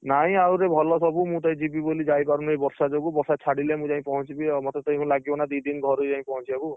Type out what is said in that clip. ନାଇଁ ଆଉ ରେ ଭଲ ସବୁ, ମୁଁ ତ ଜୀବି ବୋଲି ଯାଇପାରୁନି, ଏଇ ବର୍ଷା ଯୋଗୁ ବର୍ଷା ଛାଡିଲେ ମୁଁ ଯାଇ ପହଞ୍ଚିବି ଆଉ ମତେ ତ ଏଇଖିଣି ଲାଗିବ ନା ଦି ଦିନ ଘରକୁ ଯାଇଁକି ପହଞ୍ଚିବାକୁ।